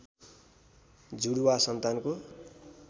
जुडुवा सन्तानको